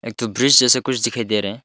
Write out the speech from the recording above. एक तो ब्रिज जिस कुछ दिखाई दे रहा है।